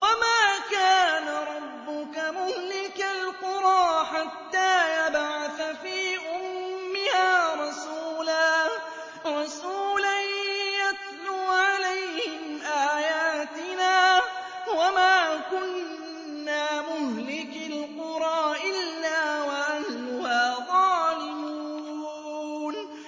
وَمَا كَانَ رَبُّكَ مُهْلِكَ الْقُرَىٰ حَتَّىٰ يَبْعَثَ فِي أُمِّهَا رَسُولًا يَتْلُو عَلَيْهِمْ آيَاتِنَا ۚ وَمَا كُنَّا مُهْلِكِي الْقُرَىٰ إِلَّا وَأَهْلُهَا ظَالِمُونَ